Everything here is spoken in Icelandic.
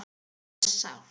Það var sárt.